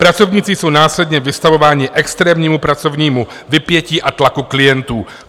Pracovníci jsou následně vystavováni extrémnímu pracovnímu vypětí a tlaku klientů."